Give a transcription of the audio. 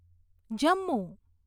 Jammu